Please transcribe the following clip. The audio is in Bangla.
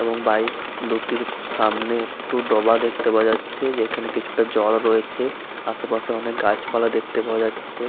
এবং বাইক দুটির সামনে একটু ডোবা দেখতে পাওয়া যাচ্ছে। যেখানে কিছুটা জল রয়েছে আশেপাশে অনেক গাছপালা দেখতে পাওয়া যাচ্ছে।